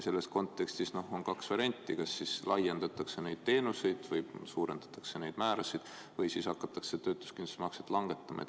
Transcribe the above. Selles kontekstis on kaks varianti: kas laiendatakse neid teenuseid või suurendatakse neid määrasid, või hakatakse töötuskindlustusmakset langetama.